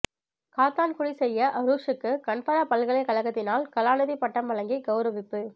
காத்தான்குடி செய்யத் அரூஸூக்கு கன்பரா பல்கலைக்கழத்தினால் கலாநிதிப்பட்டம் வழங்கி கௌரவிப்பு